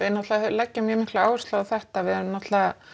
náttúrulega leggjum mjög mikla áherslu á þetta við erum náttúrulega